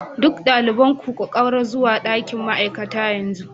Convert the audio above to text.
Duk ɗaliban ku ƙaura zuwa ɗakin ma'aikata yanzu